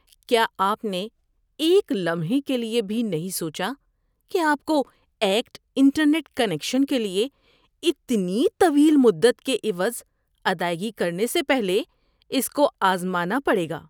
کیا آپ نے ایک لمحے کے لیے بھی نہیں سوچا کہ آپ کو "ایکٹ" انٹرنیٹ کنکشن کے لیے اتنی طویل مدت کے عوض ادائیگی کرنے سے پہلے اس کو آزمانا پڑے گا؟